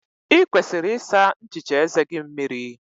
Ị kwesịrị ịsa nchicha eze gị mmiri.